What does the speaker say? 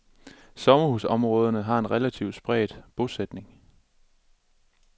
Sommerhusområderne har en relativt spredt bosætning.